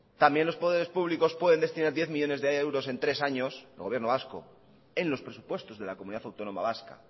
también los poderes públicos pueden destinar diez millónes de euros en tres años el gobierno vasco en los presupuestos de la comunidad autónoma vasca